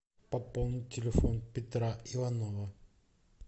пополнить телефон петра иванова